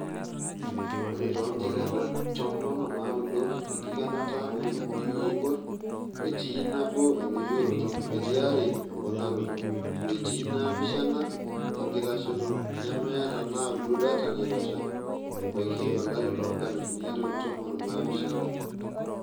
Ore too nkikenat tomon onaaudo enkikenata ooldubui oibor, etii nabo endoyioroto, etii are emponaroto, etii naapishana enkitashoto, nemeeta naaudo data naitosha ebaiki olari loonkalifuni are o tomon onaapishana.[long sentence].